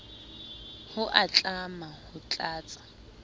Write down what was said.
ho a tlama ho tlatsa